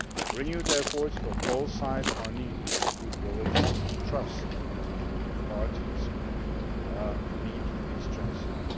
Renewed efforts from all sides are needed to improve relations, and trust between the parties needs to be strengthened.